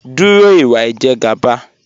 Dúró ìwà Ìjẹ̀gàba